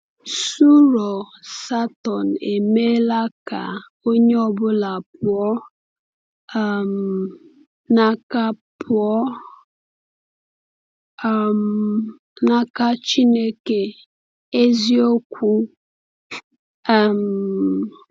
Ṣụ̀rọ̀ Satọn emeela ka onye ọ bụla pụọ um n’aka pụọ um n’aka Chineke eziokwu? um